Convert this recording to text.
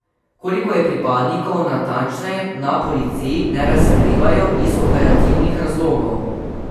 Koliko je pripadnikov, natančneje na policiji ne razkrivajo iz operativnih razlogov.